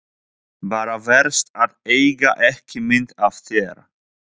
Bara verst að eiga ekki mynd af þér.